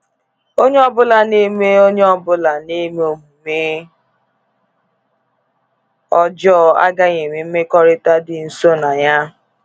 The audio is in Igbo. Onye ọbụla na-eme Onye ọbụla na-eme omume ọjọọ agaghị enwe mmekọrịta dị nso na Ya.